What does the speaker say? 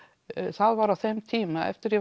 það var á þeim tíma eftir að